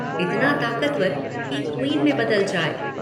इतना ताकतवर कि 'क्वीन' में बदल जाए।